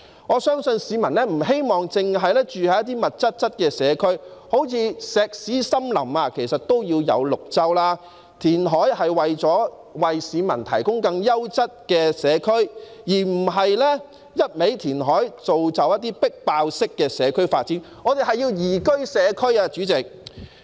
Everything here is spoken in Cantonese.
我相信市民不希望住在密集的社區，即使是"石屎森林"也要有綠州，填海應為市民提供更優質的社區，而不是一味填海，造就"迫爆式"的社區發展，我們要的是宜居社區，主席。